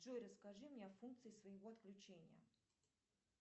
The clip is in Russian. джой расскажи мне о функции своего отключения